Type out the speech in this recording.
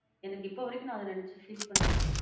எனக்கு இப்ப வரைக்கும் நான் அத நெனச்சி feel பண்ணுவேன்.